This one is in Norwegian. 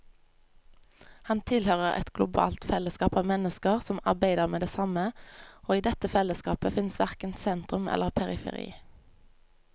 Han tilhører et globalt fellesskap av mennesker som arbeider med det samme, og i dette fellesskapet fins verken sentrum eller periferi.